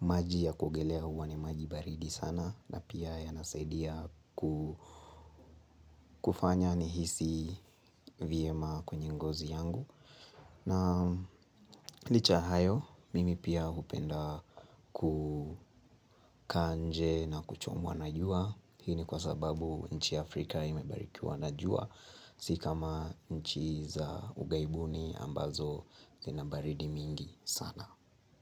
maji ya kuogelea huwa ni maji baridi sana. Na pia yanasaidia kufanya nihisi vyema kwenye ngozi yangu. Na licha ya hayo, mimi pia hupenda kukaa nje na kuchomwa najua. Hini kwa sababu, nchi ya Afrika imebarikiwa na jua. Si kama nchi za ughaibuni ambazo zina baridi mingi. Sana.